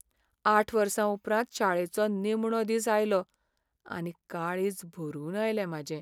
आठ वर्सां उपरांत शाळेचो निमणो दीस आयलो आनी काळीज भरून आयलें म्हाजें.